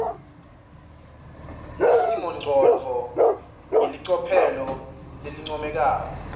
nesimongcondvo ngelicophelo lelincomekako